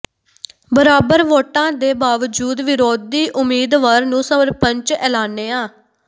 ਬਰਾਬਰ ਵੋਟਾਂ ਦੇ ਬਾਵਜੂਦ ਵਿਰੋਧੀ ਉਮੀਦਵਾਰ ਨੂੰ ਸਰਪੰਚ ਐਲਾਨਿਆ